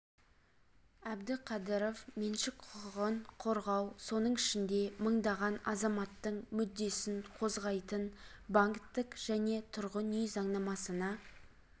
әбдіқадыров меншік құқығын қорғау соның ішінде мыңдаған азаматтың мүддесін қозғайтын банктік және тұрғын үй заңнамасына